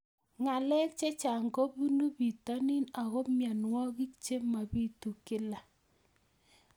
Ng'alek chechang' kopunu pitonin ako mianwogik che mapitu kila